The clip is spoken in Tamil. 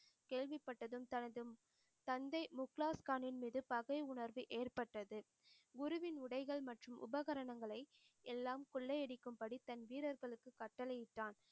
கேள்விப்பட்டதும் தனது தந்தை முக்லால்கானின் மீது பகை உணர்வு ஏற்பட்டது. குருவின் உடைகள் மற்றும் உபகரணங்களை எல்லாம் கொள்ளை அடிக்கும் படி தன் வீரர்களுக்கு கட்டளையிட்டான்